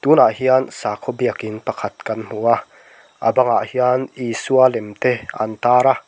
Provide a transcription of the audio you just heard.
tunah hian sakhaw biakin pakhat kan hmu a a bangah hian isua lem te an tar a.